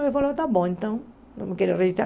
Ele falou, tá bom, então, não quero registrar.